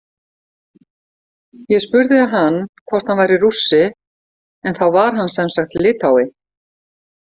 Ég spurði hann hvort hann væri Rússi en þá var hann semsagt Litái.